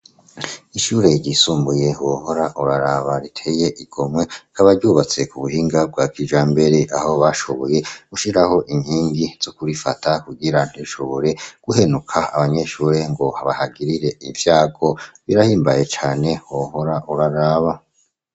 ishure ryisumbuye wohora uraraba riteye igomwe k'abaryubatse ku buhinga bwakijambere aho bashoboye gushiraho inkingi zo kubifata kugira ntishobore guhenuka abanyeshure ngo bahagirire ivyago birahimbaye cane wohora uraraba